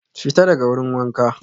Fita daga wurin wanka